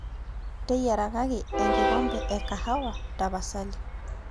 teyiarakaki ekombee ekahawa tapasali